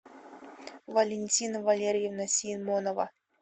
валентина валерьевна симонова